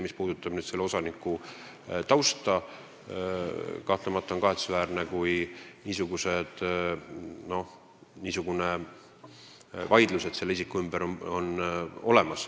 Mis puudutab tema tausta, siis on kahtlemata kahetsusväärne, kui isiku ümber on niisugune vaidlus.